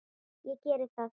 Ég geri það.